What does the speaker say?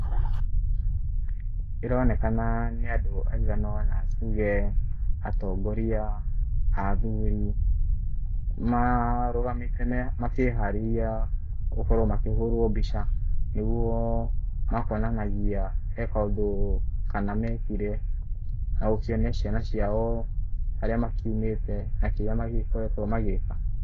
Ĩronekana nĩ andũ aigana ũna, tuge atongoria athuri, marũgamĩte makĩharĩria gũkorwo makĩhũrwo mbica. Nĩguo makonanagia he kaũndũ kana mekire, na gũkionia ciana ciao harĩa makiumĩte na kĩrĩa magĩgĩkoretwo magĩka.